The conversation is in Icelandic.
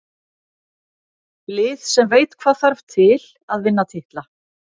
Lið sem veit hvað þarf til að vinna titla.